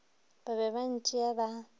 ba be ba ntšea ba